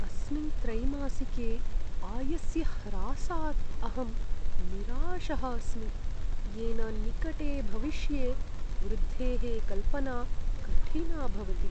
अस्मिन् त्रैमासिके आयस्य ह्रासात् अहं निराशः अस्मि, येन निकटे भविष्ये वृद्धेः कल्पना कठिना भवति।